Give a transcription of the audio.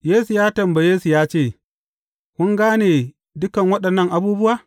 Yesu ya tambaye su ya ce, Kun gane dukan waɗannan abubuwa?